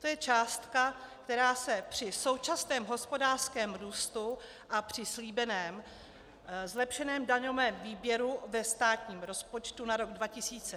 To je částka, která se při současném hospodářském růstu a při slíbeném zlepšeném daňovém výběru ve státním rozpočtu na rok 2016 najde snadno.